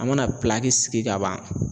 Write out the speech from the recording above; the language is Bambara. An mana sigi ka ban